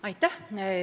Aitäh!